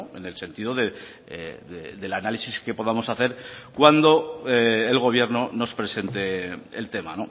en el sentido del análisis que podamos hacer cuando el gobierno nos presente el tema